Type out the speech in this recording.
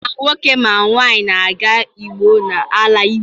Ma nwoke ma nwaanyị na-aga ugbo n’ala Igbo